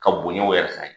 Ka bonyaw yɛrɛ fa ye